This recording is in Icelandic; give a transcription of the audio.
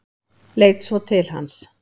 Leit svo til hans.